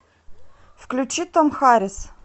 включи том харис